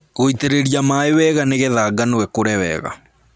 Gũitĩrĩria maĩ wega nĩgetha ngano ĩkũre wega.